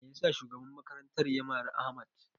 Me yasa shugaban makarantar ya mari Ahmad?